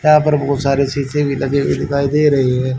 यहां पर बहुत सारे शीशे भी लगे हुए दिखाई दे रहे हैं।